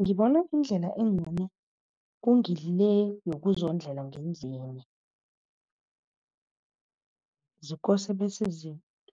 Ngibona indlela engcono kulungile yokuzondlela ngendlini. Zikose bese